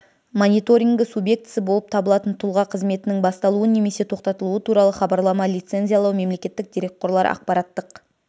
мониторингі субъектісі болып табылатын тұлға қызметінің басталуы немесе тоқтатылуы туралы хабарлама лицензиялау мемлекеттік дерекқорлар ақпараттық